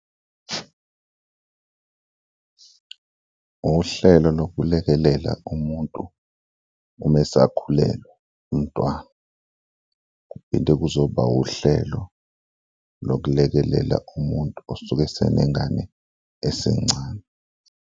Uhlelo lokulekelela umuntu uma esakhulelwe umntwana kuphinde kuzoba uhlelo lokulekelela umuntu osuke esenengane esencane.